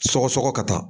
Sɔgɔsɔgɔ ka taa